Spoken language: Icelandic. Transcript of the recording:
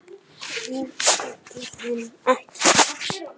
Hún þekkir hann ekki.